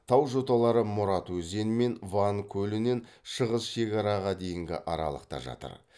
тау жоталары мұрат өзені мен ван көлінен шығыс шекараға дейінгі аралықта жатыр